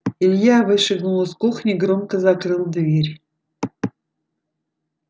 илья вышагнул из кухни громко закрыл дверь